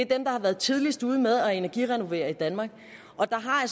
der har været tidligst ude med at energirenovere i danmark der har